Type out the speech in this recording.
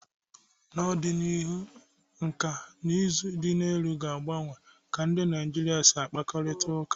N'ọdịnihu, nkà na ụzụ dị elu ga-agbanwe ka ndị Naịjirịa si akparịta ụka.